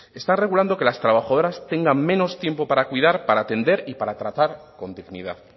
está regulando que las trabajadoras tengan menos tiempo para cuidar para atender y para tratar con dignidad